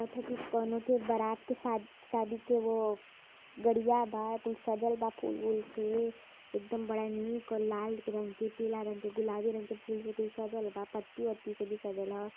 लागत ह की कोनो के बरात के शाद शादी के वो गाड़िया बा कुल सजल बा फूल उल से एकदम बड़ा नीक लाल रंग केपीला रंग के गुलाबी रंग के फूल से कुल सजल बा पत्ती उत्ती से भी सजल ह।